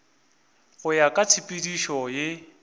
go ya ka tshepedišo ye